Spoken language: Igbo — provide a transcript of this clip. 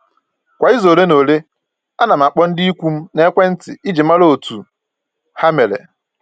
Kwa izu ole na ole, ana m akpọ ndị ikwu m n'ekwentị iji mara otu ha mere